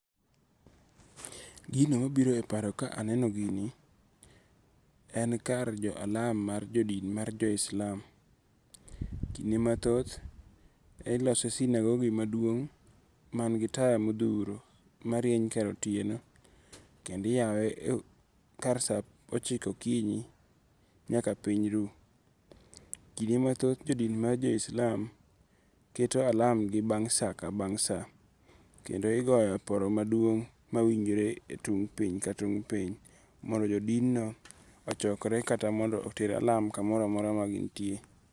Gino ma biro e paro ka aneno gini, en kar jo alam mar jo dini mar jo islam, kinde mathoth, ilose sinagogi maduong' mangi taya mothuro marieny kar otieno kendo iyawe kar sa ochiko okinyi nyaka piny ru, kinde mathoth jo din mar joislam keto alamgi bang' sa ka bang' sa kendo igoyo oporo maduong' mawinjore e tung' piny ka tung' piny mondo jo din no ochokre kata mondo oter alam kamoro amora ma gin tie.